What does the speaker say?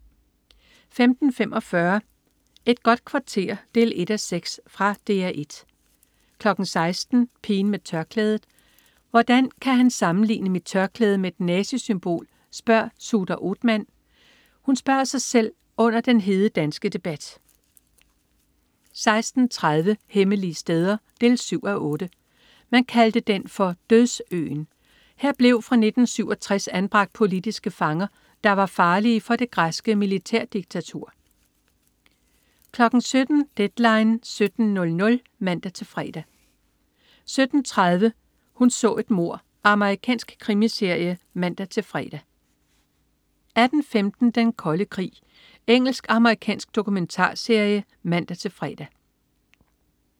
15.45 Et godt kvarter 1:6. Fra DR 1 16.00 Pigen med tørklædet. "Hvordan kan han sammenligne mit tørklæde med et nazisymbol?", spørger Suher Othmann sig selv under den hede danske debat 16.30 Hemmelige steder 7:8. Man kaldte den for "Dødsøen". Her blev fra 1967 anbragt politiske fanger, der var farlige for det græske militærdiktatur 17.00 Deadline 17.00 (man-fre) 17.30 Hun så et mord. Amerikansk krimiserie (man-fre) 18.15 Den Kolde Krig. Engelsk/amerikansk dokumentarserie (man-fre)